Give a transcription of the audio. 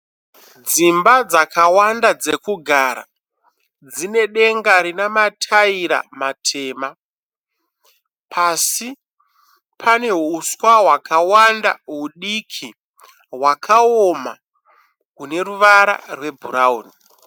Dzimba dzakawanda dzekugara, dzine denga rine mataira matema, pasi pane huswa wakawanda hudiki wakaoma rune ruvara rwe brown.